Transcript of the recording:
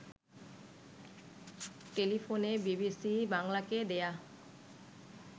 টেলিফোনে বিবিসি বাংলাকে দেয়া